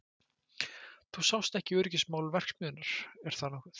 Þú sást ekki um öryggismál verksmiðjunnar, er það nokkuð?